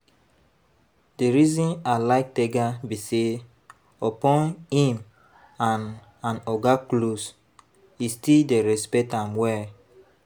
The reason I like Tega be say upon im and and oga close, e still dey respect am well